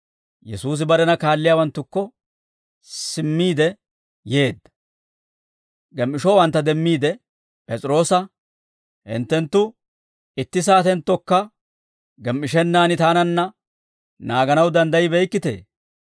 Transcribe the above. Yesuusi barena kaalliyaawanttukko simmiide yeedda; gem"ishowantta demmiide P'es'iroosa, «Hinttenttu itti saatenttonnekka gem"ishennaan taananna naaganaw danddayibeykkitee?